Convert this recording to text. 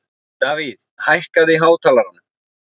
Davíð, hækkaðu í hátalaranum.